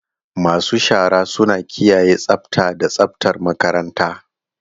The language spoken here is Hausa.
Masu shara suna kiyaye tsafta da tsaftar makaranta.